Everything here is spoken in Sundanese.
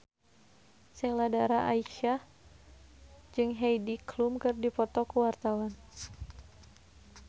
Sheila Dara Aisha jeung Heidi Klum keur dipoto ku wartawan